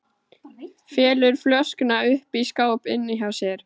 Felur flöskuna uppi í skáp inni hjá sér.